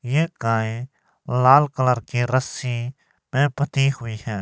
ये गाय लाल कलर के रस्सी में बधी हुई है।